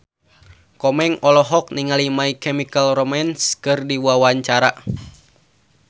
Komeng olohok ningali My Chemical Romance keur diwawancara